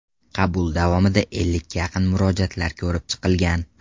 Qabul davomida ellikka yaqin murojaatlar ko‘rib chiqilgan.